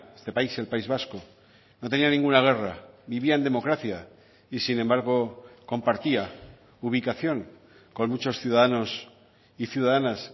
este país el país vasco no tenía ninguna guerra vivía en democracia y sin embargo compartía ubicación con muchos ciudadanos y ciudadanas